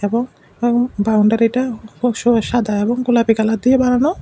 এবং এবং বাউন্ডারিটা খুব সাদা এবং গোলাপী কালার দিয়ে বানানো।